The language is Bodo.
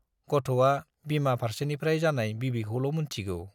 गथ'आ बिमा फार्सेनिफ्राय जानाय बिबैखौल' मोनथिगौ।